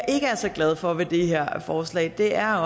ikke er så glad for ved det her forslag er